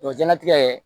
O ye jɛnlatigɛ ye